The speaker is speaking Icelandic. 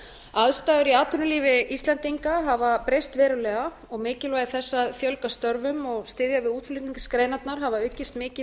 aðstæður í atvinnulífi íslendinga hafa breyst verulega og mikilvægi þess að fjölga störfum og styðja við útflutningsgreinarnar hafa aukist mikið